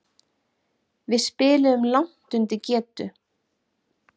Við spiluðum langt undir getu.